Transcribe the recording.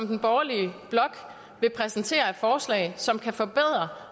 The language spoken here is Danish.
den borgerlige blok vil præsentere af forslag som kan forbedre